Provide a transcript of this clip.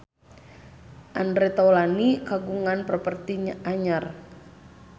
Andre Taulany kagungan properti anyar